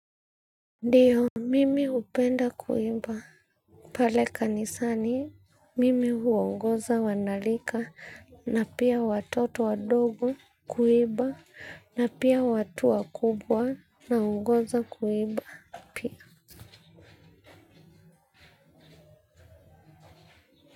Ndiyo, mimi hupenda kuimba. Pale kanisani, mimi huongoza wanarika na pia watoto wadogo kuiba na pia watu wakubwa naongoza kuiba pia.